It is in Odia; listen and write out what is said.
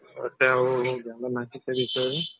ଆଛା ଆଉ ଜାଣେ ନାହିଁ ସେ ବିଷୟରେ